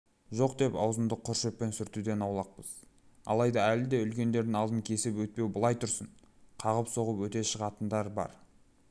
жоқ деп аузымызды құр шөппен сүртуден аулақпыз алайда әлі де үлкендердің алдын кесіп өтпеу былай тұрсын қағып-соғып өте шығатындар бар